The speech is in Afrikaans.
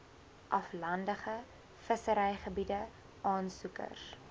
aflandige visserygebiede aansoekers